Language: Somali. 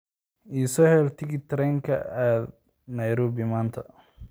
I soo hel tigidh tareen oo aad Nairobi maanta